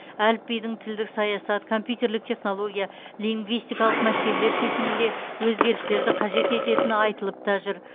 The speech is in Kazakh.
әліпбидің тілдік саясат компьютерлік технология лингвистикалық мәселелер шешімінде өзгерістерді қажет ететіні айтылып та жүр